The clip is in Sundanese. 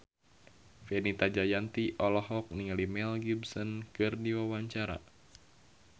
Fenita Jayanti olohok ningali Mel Gibson keur diwawancara